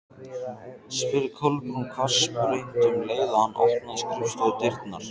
spurði Kolbrún hvassbrýnd um leið og hann opnaði skrifstofudyrnar.